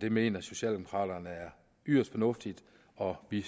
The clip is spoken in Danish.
det mener socialdemokraterne er yderst fornuftigt og vi